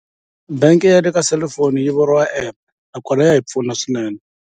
Bank ya le ka selifoni yi vuriwa app nakona ya hi pfuna swinene.